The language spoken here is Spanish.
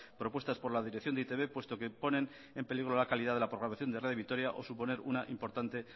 propuestas por la dirección de e i te be puesto que ponen en peligro la calidad de la programación de radio vitoria o suponen una importante